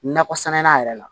Nakɔ sɛnɛnan yɛrɛ la